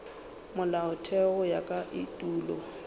molaotheo go ya ka etulo